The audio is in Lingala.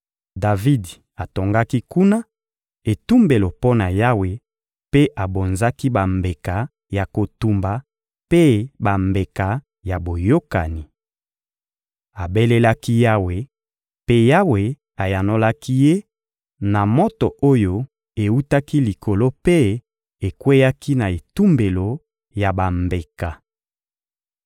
Davidi atongaki kuna etumbelo mpo na Yawe mpe abonzaki bambeka ya kotumba mpe bambeka ya boyokani. Abelelaki Yawe, mpe Yawe ayanolaki ye na moto oyo ewutaki likolo mpe ekweyaki na etumbelo ya bambeka.